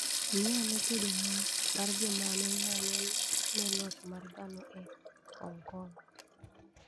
Ng`i ane kedo mar joma ne ng'anyo ne loch mar dhano e Hong Kong.